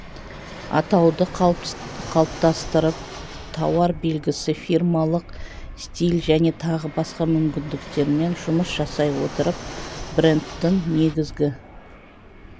атауды қалыптастырып тауар белгісі фирмалық стиль және тағы басқа мүмкіндіктермен жұмыс жасай отырып брендтің негізгі